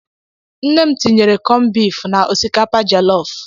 Nne m tinyere cọn bịf na osikapa jelọf.